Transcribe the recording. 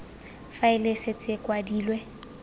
faele e setse e kwadilwe